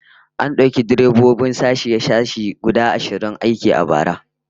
An dauki direbobin sashe-sashe guda ashirin aiki a bara